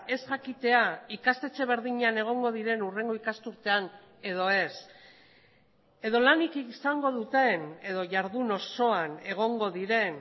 ez jakitea ikastetxe berdinean egongo diren hurrengo ikasturtean edo ez edo lanik izango duten edo jardun osoan egongo diren